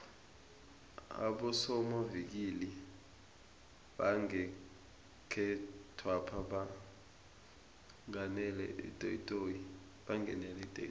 abosomavikili bangekhethwapha bangenele itoyitoyi